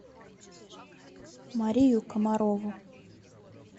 марию комарову